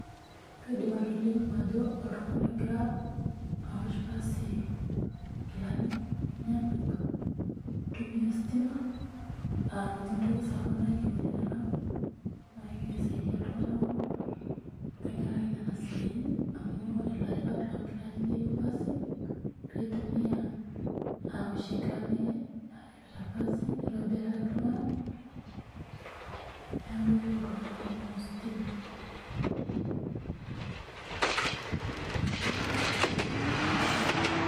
Kaidim atolimu ajo oltung'ani ogira, aosh pasi inkilani, enyenak itumia ositima aa ninye entoki sapuk nayeuni tena kop, naa kegira aisadia iltung'anak tenkaraki nena siatin amuu ore ilaripak loonkilani neyeu pasi, peeitumia aoshie inkilani naaripita pasi nitobiraki iltung'ana neeku eyeu iltung'anak kumokm ositima.